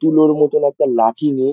তুলোর মতো একটা লাঠি নিয়ে।